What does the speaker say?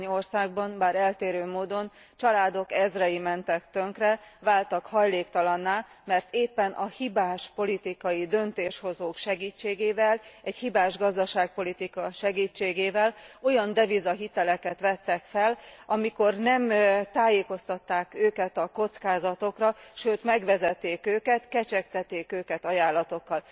Néhány országban, bár eltérő módon, családok ezrei mentek tönkre, váltak hajléktalanná, mert éppen a hibás politikai döntéshozók segítségével, egy hibás gazdaságpolitika segítségével olyan devizahiteleket vettek fel, amikor nem tájékoztatták őket a kockázatokról, sőt megvezették őket, kecsegtették őket ajánlatokkal.